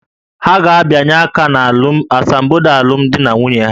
Ha ga-abịanye aka na asambodo alụmdi na nwunye ha